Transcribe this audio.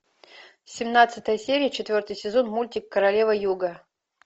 семнадцатая серия четвертый сезон мультик королева юга